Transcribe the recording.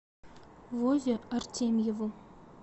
вове артемьеву